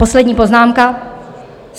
Poslední poznámka.